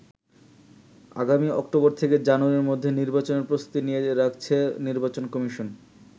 আগামী অক্টোবর থেকে জানুয়ারির মধ্যে নির্বাচনের প্রস্তুতি নিয়ে রাখছে নির্বাচন কমিশন।